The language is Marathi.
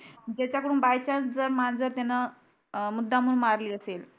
ज्यांच्याकडून बाय चान्स जर माझं त्यान मुद्दामून मारली असेल.